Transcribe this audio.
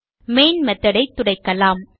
main method ஐ துடைக்கலாம்